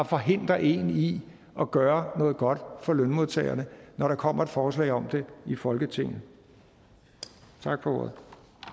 forhindrer en i at gøre noget godt for lønmodtagerne når der kommer et forslag om det i folketinget tak for ordet